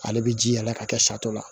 Ale bi ji yɛlɛ ka kɛ sari la